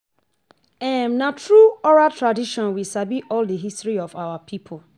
Na through oral tradition we sabi all the history of our people.